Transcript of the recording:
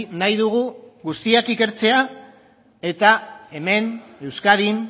nahi dugu guztiak ikertzea eta hemen euskadin